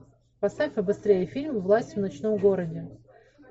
поставь побыстрее фильм власти в ночном городе